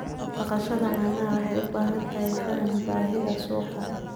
Dhaqashada caanaha waxay u baahan tahay faham baahida suuqa.